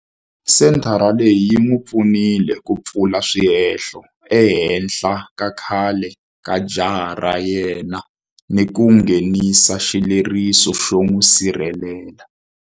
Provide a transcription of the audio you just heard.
Senthara leyi yi n'wi pfunile ku pfula swihehlo ehenhla ka khale ka jaha ra yena ni ku nghenisa xileriso xo n'wi sirhelela.